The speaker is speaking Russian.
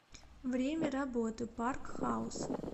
время работы парк хаус